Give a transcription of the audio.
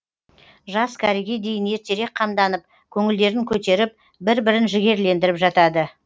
жас кәріге дейін ертерек қамданып көңілдерін көтеріп бір бірін жігерлендіріп жатады